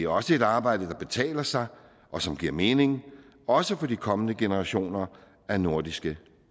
også et arbejde der betaler sig og som giver mening også for de kommende generationer af nordiske